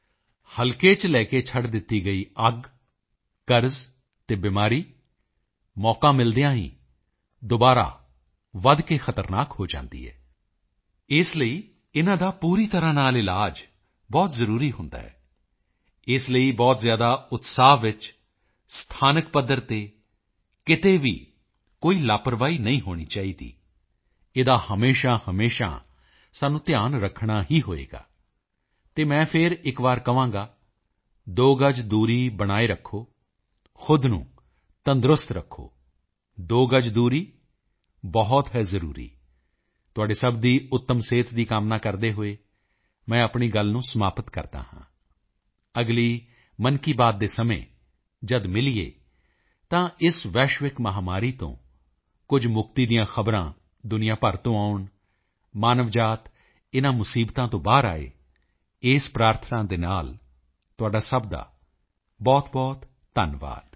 ਅਰਥਾਤ ਹਲਕੇ ਚ ਲੈ ਕੇ ਛੱਡ ਦਿੱਤੀ ਗਈ ਅੱਗ ਕਰਜ਼ ਅਤੇ ਬਿਮਾਰੀ ਮੌਕਾ ਮਿਲਦਿਆਂ ਹੀ ਦੁਬਾਰਾ ਵਧ ਕੇ ਖ਼ਤਰਨਾਕ ਹੋ ਜਾਂਦੀ ਹੈ ਇਸ ਲਈ ਇਨ੍ਹਾਂ ਦਾ ਪੂਰੀ ਤਰ੍ਹਾਂ ਇਲਾਜ ਬਹੁਤ ਜ਼ਰੂਰੀ ਹੁੰਦਾ ਹੈ ਇਸ ਲਈ ਬਹੁਤ ਉਤਸ਼ਾਹ ਵਿੱਚ ਸਥਾਨਕ ਪੱਧਰ ਤੇ ਕਿਤੇ ਵੀ ਕੋਈ ਲਾਪਰਵਾਹੀ ਨਹੀਂ ਹੋਣੀ ਚਾਹੀਦੀਇਸ ਦਾ ਹਮੇਸ਼ਾਹਮੇਸ਼ਾ ਸਾਨੂੰ ਧਿਆਨ ਰੱਖਣਾ ਹੀ ਹੋਵੇਗਾ ਅਤੇ ਮੈਂ ਫਿਰ ਇੱਕ ਵਾਰ ਕਹਾਂਗਾ ਦੋ ਗਜ ਦੂਰੀ ਬਹੁਤ ਹੈ ਜ਼ਰੂਰੀ ਤੁਹਾਡੇ ਸਭ ਦੀ ਉੱਤਮ ਸਿਹਤ ਦੀ ਕਾਮਨਾ ਕਰਦੇ ਹੋਏ ਮੈਂ ਆਪਣੀ ਗੱਲ ਨੂੰ ਸਮਾਪਤ ਕਰਦਾ ਹਾਂ ਅਗਲੀ ਮਨ ਕੀ ਬਾਤ ਦੇ ਸਮੇਂ ਜਦ ਮਿਲੀਏ ਤਾਂ ਇਸ ਵੈਸ਼ਵਿਕ ਮਹਾਮਾਰੀ ਤੋਂ ਕੁਝ ਮੁਕਤੀ ਦੀਆਂ ਖ਼ਬਰਾਂ ਦੁਨੀਆਂ ਭਰ ਤੋਂ ਆਉਣ ਮਾਨਵ ਜਾਤ ਇਨ੍ਹਾਂ ਮੁਸੀਬਤਾਂ ਤੋਂ ਬਾਹਰ ਆਏ ਇਸ ਪ੍ਰਾਰਥਨਾ ਦੇ ਨਾਲ ਤੁਹਾਡਾ ਸਭ ਦਾ ਬਹੁਤਬਹੁਤ ਧੰਨਵਾਦ